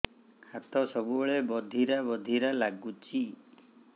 ହାତ ସବୁବେଳେ ବଧିରା ବଧିରା ଲାଗୁଚି